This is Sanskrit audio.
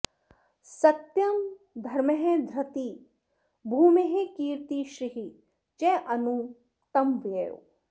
सत्यं धर्मः धृतिः भूमेः कीर्तिः श्रीः च अनु तं वयुः